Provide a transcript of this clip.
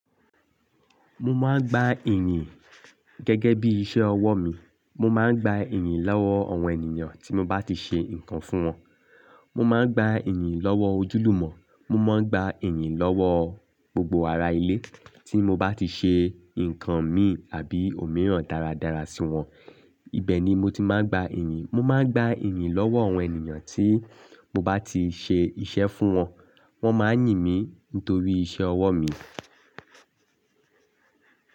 Mo máa ń gba ìyìn gẹ́gẹ́ bí iṣẹ́ ọwọ́ mi. Mo máa ń gba ìyìn lọ́wọ́ àwọn ènìyàn tí mo bá ti ṣe nǹkan fún wọn. Mo máa ń gba ìyìn lọ́wọ́ ojúlùmọ̀. Mo máa ń gba ìyìn lọ́wọ́ gbogbo ará ilé tí mo bá ti ṣe nǹkan mi àbí òmíràn dáradára sí wọn. Ìbẹ̀ ni mo ti máa ń gba ìyìn. Mo máa ń gba ìyìn lọ́wọ́ àwọn ènìyàn tí mo bá ti ṣe iṣẹ́ fún wọn. Wọ́n máa ń yìn mí nítorí iṣẹ́ ọwọ́ mi.